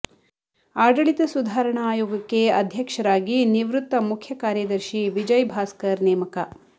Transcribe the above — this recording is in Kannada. ಆಡಳಿತ ಸುಧಾರಣಾ ಆಯೋಗಕ್ಕೆ ಅಧ್ಯಕ್ಷರಾಗಿ ನಿವೃತ್ತ ಮುಖ್ಯ ಕಾರ್ಯದರ್ಶಿ ವಿಜಯ್ ಭಾಸ್ಕರ್ ನೇಮಕ